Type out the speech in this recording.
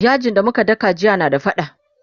yajin da muka daka jiya na da faɗa